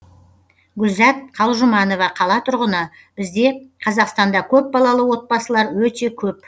гүлзат калжұманова қала тұрғыны бізде қазақстанда көпбалалы отбасылар өте көп